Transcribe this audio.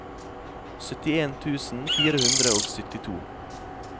syttien tusen fire hundre og syttito